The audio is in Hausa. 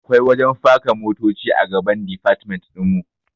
Akwai wajen faka motoci a gaban difatmen ɗinmu